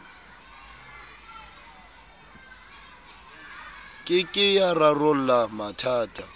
ke ke ya rarolla mathata